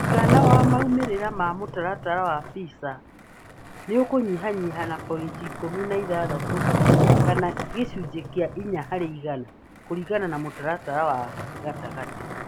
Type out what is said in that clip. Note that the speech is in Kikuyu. Mũigana wa maumĩrĩra ma mũtaratara wa PISA nĩ ũkũnyihanyiha na pointi ikũmi na ithathatũ kana gĩcunjĩ kĩa inya harĩ igana, kũringana na mũtaratara wa gatagatĩ